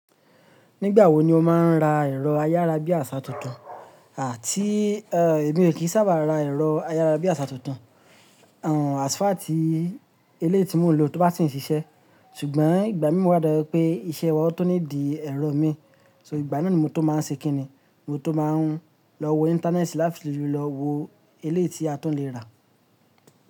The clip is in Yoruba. Nígbà wo ni o máa ń ra ẹ̀rọ ayárabíàṣá tuntun? Àti, ẹ́, èmi ò kí sábà ra ẹ̀rọ ayárabíàṣá tuntun, ẹ́, as far tì eleyi tí mò ń lò tó bá ti ń siṣẹ́. Ṣùgbọ́n ìgbà mí mú wa dárú pé iṣẹ́ wa tún lè di ẹ̀rọ mi, so ìgbà náà ni mo tó máa ṣe kí ni? Mo tó máa ń lọ wo íńtánẹ́ẹ̀tì láti fi lọ wo ilé tí a tún lè rà.